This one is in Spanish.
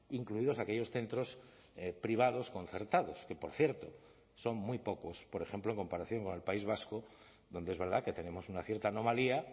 incluidos aquellos centros privados concertados que por cierto son muy pocos por ejemplo en comparación con el país vasco donde es verdad que tenemos una cierta anomalía